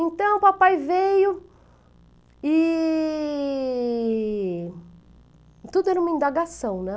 Então, o papai veio e... Tudo era uma indagação, né?